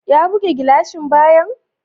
Ya buge gilashin bayan?